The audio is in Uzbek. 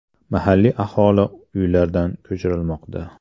Mahalliy aholi uylaridan ko‘chirilmoqda.